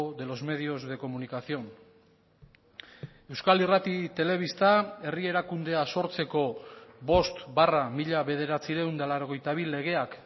de los medios de comunicación euskal irrati telebista herri erakundea sortzeko bost barra mila bederatziehun eta laurogeita bi legeak